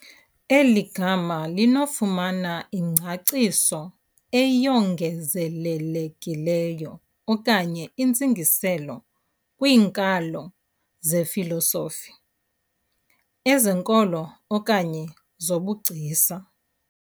Eli gama linokufumana ingcaciso eyongezelelekileyo okanye iintsingiselo kwiinkalo zefilosofi, ezenkolo okanye zobugcisa.